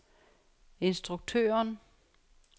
instruktøren